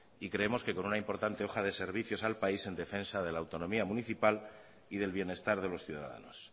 y creemos que con una importante hoja de servicio al país en defensa de la autonomía municipal y del bienestar de los ciudadanos